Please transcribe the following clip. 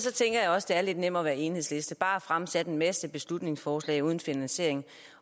også det er lidt nemmere at enhedslisten bare fremsætte en masse beslutningsforslag uden finansiering